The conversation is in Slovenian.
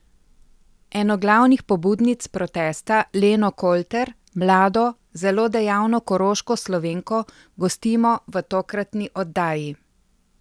Eno glavnih pobudnic protesta, Leno Kolter, mlado, zelo dejavno koroško Slovenko, gostimo v tokratni oddaji.